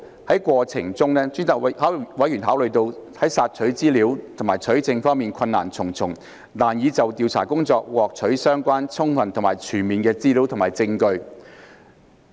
在過程中，委員考慮到在索取資料和取證方面困難重重，難以就調查工作獲取相關、充分及全面的資料和證據。